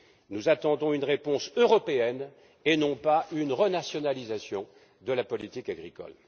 Nous attendons une réponse européenne et non pas une renationalisation de la politique agricole.